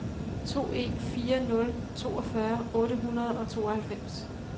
to en fire nul toogfyrre otte hundrede og tooghalvfems